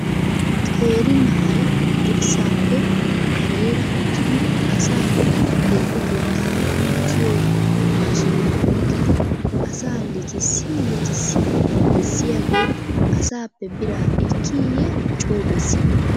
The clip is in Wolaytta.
Qeeri na'ay dirssappe kareera uttidi asaa deexotettaa likkiyo maashiniya oyqqidi asaa likissi likissi bessiyaage asappe biraa ekkiye coo bessii ?